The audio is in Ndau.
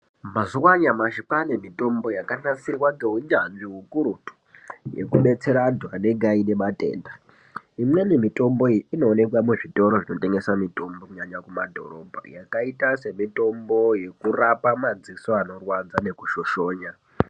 Mazuwa anyamashi kwaane mitombo yakanasirwa ngeunyanzvi ukurutu yekudetsera anhu anenge aine matenda. Imweni mitomboyi inoonekwa muzvitoro zvinotengesa mitombo, kunyanya mumadhorobha, yakaita semitombo inoshandiswa kurapa madziso anoshoshonya.